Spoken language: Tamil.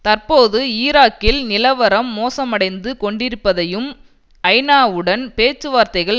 தற்போது ஈராக்கில் நிலவரம் மோசமடைந்து கொண்டிருப்பதையும் ஐநாவுடன் பேச்சுவார்த்தைகள்